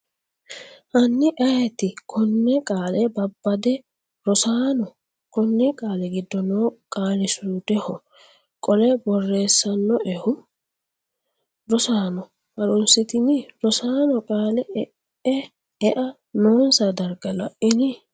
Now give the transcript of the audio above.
Hanni ayeeti konne qaale babbade Rosaano, konni qaali giddo noo qaalisuudeho qole borreessannoehu? Rosaano ha’runsitini? Rosaano qaalla, ea noonsa darga La’ini?